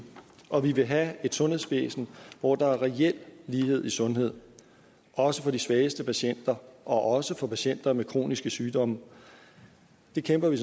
og vi vil have et sundhedsvæsen hvor der er reel lighed i sundhed også for de svageste patienter og også for patienter med kroniske sygdomme det kæmper vi